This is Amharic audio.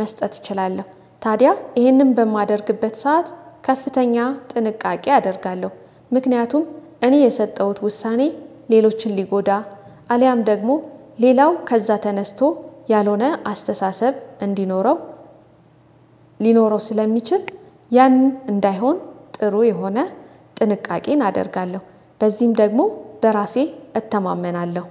መስጠት እችላለሁ። ታዲያ ይህንን በማደርግበት ሰዓት ከፍተኛ ጥንቃቄ አደርጋለሁ። ምክንያቱም እኔ የሰጠሁት ውሳኔ ሌሎችን ሊጎዳ አልያም ደግሞ ሌላው ከዛ ተነስቶ ያልሆነ አስተሳሰብ እንዲኖረው ሊኖረው ስለሚችል ያን እንዳይሆን ጥሩ የሆነ ጥንቃቄን አደርጋለሁ። በዚህም ደግሞ በራሴ እተማመናለሁ።